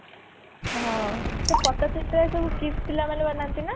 ହଁ ସେ ପଟ୍ଟ ଚିତ୍ର ଏ ସବୁ KIIS ପିଲା ମାନେ ବନାନ୍ତି ନା